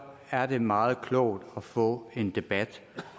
er det meget klogt at få en debat